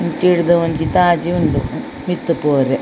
ಇಂಚಿರ್ದ್ ಒಂಜಿ ತಾಜಿ ಉಂಡು ಮಿತ್ತ್ ಪೊವೆರೆ.